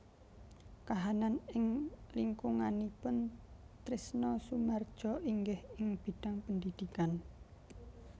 Kahanan ing lingkunganipun Trisno Soemardjo inggih ing bidhang pendhidhikan